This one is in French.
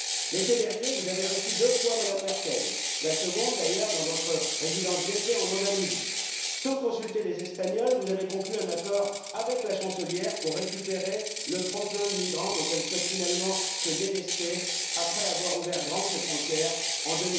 L'été dernier, vous avez reçu deux fois Mme Merkel, la seconde fois, d'ailleurs, dans votre résidence d'été en Andalousie. Sans consulter les Espagnols, vous avez conclu un accord avec la chancelière pour récupérer le trop plein de migrants dont elle souhaite finalement se délester après avoir ouvert grand ses frontières en